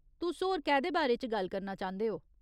तुस होर कैह्दे बारे च गल्ल करना चांह्दे ओ ?